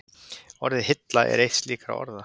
Orðið hilla er eitt slíkra orða.